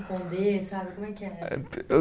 Sabe, como é que era? Eh, eu